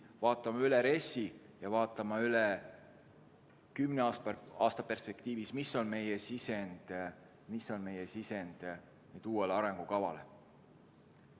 Vaatame üle RES-i ja vaatame üle kümne aasta perspektiivis, mis on meie sisend uude arengukavasse.